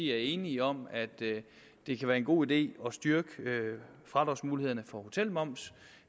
er enige om at det kan være en god idé at styrke fradragsmulighederne for hotelmoms